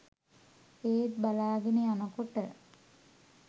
ඒත් බලාගෙන යනකොට